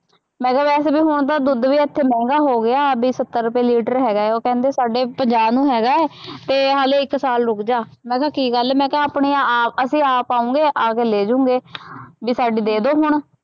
ਮੈਂ ਕਿਹਾ ਵੈਸੇ ਵੀ ਹੁਣ ਤਾਂ ਦੁੱਧ ਵੀ ਇੱਥੇ ਮਹਿੰਗਾ ਹੋ ਗਿਆ, ਬਈ ਸੱਤਰ ਰੁਪਏ ਲੀਟਰ ਹੈਗਾ ਹੈ, ਉਹ ਕਹਿੰਦਾ ਸਾਡੇ ਪੰਜਾਹ ਨੂੰ ਹੈਗਾ ਅਤੇ ਹਾਲੇ ਇੱਕ ਸਾਲ ਰੁੱਕ ਜਾ, ਮੈਂ ਕਿਹਾ ਕੀ ਗੱਲ, ਮੈਂ ਕਿਹਾ ਆਪਣੇ ਆਪ, ਅਸੀਂ ਆਪ ਆਊਂਗੇ, ਆ ਕੇ ਲੈ ਜੋਉਂਗੇ, ਬਈ ਸਾਡੀ ਦੇ ਦਿਉ ਹੁਣ,